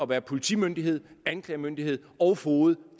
være politimyndighed anklagemyndighed og foged og